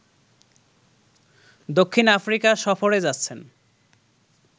দক্ষিণ আফ্রিকা সফরে যাচ্ছেন